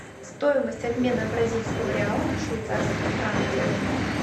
стоимость обмена бразильского реала на швейцарские франки